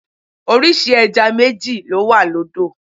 Orísìí ẹja méjì ló wà lódò.